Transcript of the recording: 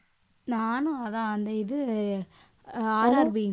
நானும் அதான் அந்த இது அஹ் RRB